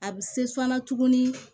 A bɛ se sɔnna tuguni